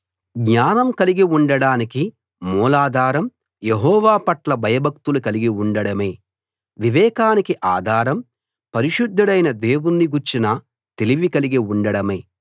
జ్ఞానం కలిగి ఉండడానికి మూలాధారం యెహోవా పట్ల భయభక్తులు కలిగి ఉండడమే వివేకానికి ఆధారం పరిశుద్ధుడైన దేవుణ్ణి గూర్చిన తెలివి కలిగి ఉండడమే